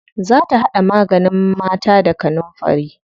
Za ta haɗa maganin mata da garafuni.